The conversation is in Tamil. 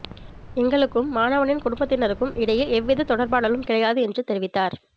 எங்களுக்கும் மாணவனின் குடும்பத்தினருக்கும் இடையில் எவ்வித தொடர்பாடலும் கிடையாது என்று தெரிவித்தார்